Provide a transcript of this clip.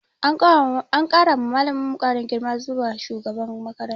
An kara wa malaminmu karin girma zuwa shugaban makaranta.